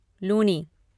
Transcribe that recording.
Luni